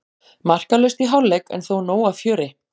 Markalaust í hálfleik en þó nóg af fjöri.